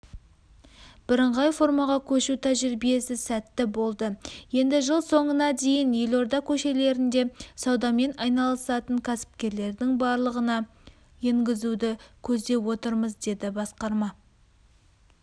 бірыңғай формаға көшу тәжірибесі сәтті болды енді жыл соңына дейін елорда көшелерінде саудамен айналысатан кәсіпкерлердің барлығына енгізуді көздеп отырмыз деді басқарма